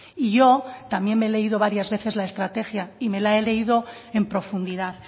y yo también me he leído varias veces la estrategia y me la he leído en profundidad